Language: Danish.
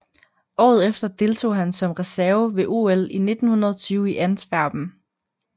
Året efter deltog han som reserve ved OL 1920 i Antwerpen